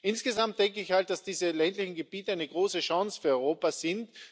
Insgesamt denke ich, dass diese ländlichen Gebiete eine große Chance für Europa sind.